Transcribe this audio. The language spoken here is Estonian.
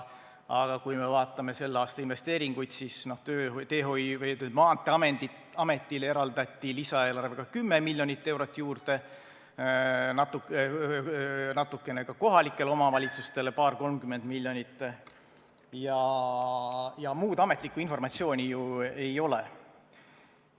Aga kui me vaatame selle aasta investeeringuid, siis Maanteeametile eraldati lisaeelarvega kümme miljonit eurot, natukene ka kohalikele omavalitsustele, paar-kolmkümmend miljonit, ja muud ametlikku informatsiooni ju ei ole.